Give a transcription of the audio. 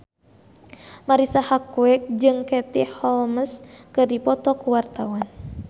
Marisa Haque jeung Katie Holmes keur dipoto ku wartawan